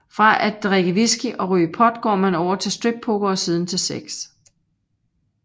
Fra at drikke whisky og ryge pot går man over til strip poker og siden til sex